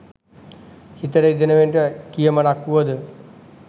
හිත රිදවෙන කියමනක් වුවද